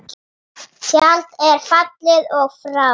Tjaldið er fallið og frá.